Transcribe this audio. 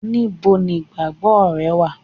níbo nigbagbo re wa